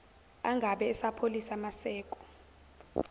angabe esapholisa maseko